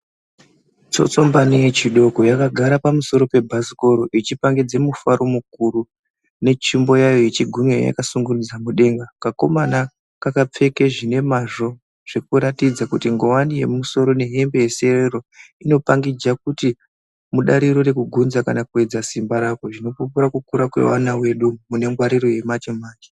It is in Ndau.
Tsotsombani yechidoko yakagara pamusoro pebhasikoro ichipangidze mufaro mukuru netsvimbo yayo yechigumwe yakasungunudza mudenga kakomana kakapfeke zvinemazvo zvekuratidze kuti nguwani yemumusoro nehembe yeserero inopangidza kuti mudariro rekugunza kana kuyedza simba rako zvinopupura kukura kwevana vedu mune ngwariro yemanje manje.